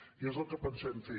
i és el que pensem fer